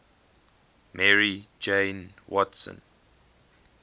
mary jane watson